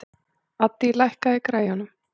Addý, lækkaðu í græjunum.